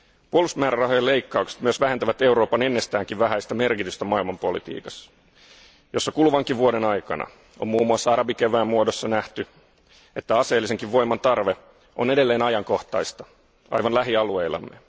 Puolustusmäärärahojen leikkaukset myös vähentävät Euroopan ennestäänkin vähäistä merkitystä maailmanpolitiikassa, jossa kuluvankin vuoden aikana on muun muassa arabikevään muodossa nähty, että aseellisenkin voiman tarve on edelleen ajankohtaista aivan lähialueillamme.